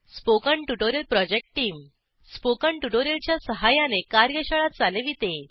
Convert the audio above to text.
spoken tutorial project टीमSpoken tutorial च्या सहाय्याने कार्यशाळा चालविते